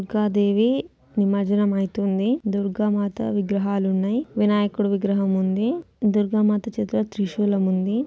దుర్గ దేవి నిమర్జనం అయితుంది దుర్గ మాత విగ్రహలు ఉన్నాయి వినాయకుడి విగ్రహం ఉంది దుర్గ మాత చేతిలో త్రిశూలం ఉంది.